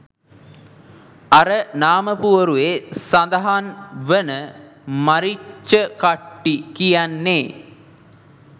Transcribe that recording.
අර නාමපුවරුවේ සදහන් වන මරිච්චකට්ටි කියන්නේ